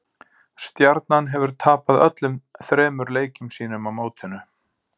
Stjarnan hefur tapað öllum þremur leikjum sínum á mótinu.